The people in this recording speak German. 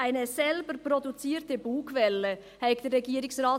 Der Regierungsrat habe «eine selbst produzierte Bugwelle» kreiert.